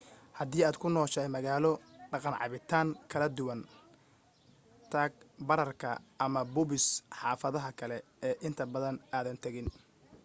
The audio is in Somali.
hadii aad ku nooshahay magaalo dhaqan cabitaan kala duwan tag baararka ama pubs xaafadaha kale ee inta badan aadan tagin